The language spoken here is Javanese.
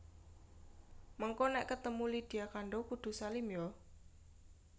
Mengko nek ketemu Lydia Kandouw kudu salim yo